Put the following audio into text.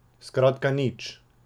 Skratka nič.